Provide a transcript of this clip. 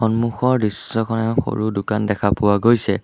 সন্মুখৰ দৃশ্যখনত সৰু দোকান দেখা পোৱা গৈছে।